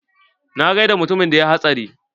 Na gaida mutumin da yayi hatsari.